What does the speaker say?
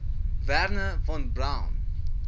wernher von braun